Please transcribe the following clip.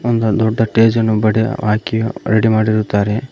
ಒಂದು ದೊಡ್ಡ ಸ್ಟೇಜ್ ಅನ್ನು ಬಡಿ ಹಾಕಿ ರೆಡಿ ಮಾಡಿರುತ್ತಾರೆ.